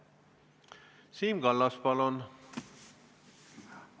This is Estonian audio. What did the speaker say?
Siim Kallas, palun!